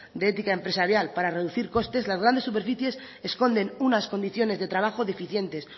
de ética empresarial para reducir costes las grandes superficies escondes unas condiciones de trabajo deficientes